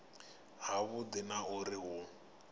ha vhudi na uri hu